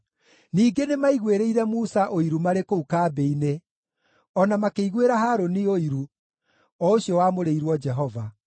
Ningĩ nĩmaiguĩrĩire Musa ũiru marĩ kũu kambĩ-inĩ, o na makĩiguĩra Harũni ũiru, o ũcio wamũrĩirwo Jehova.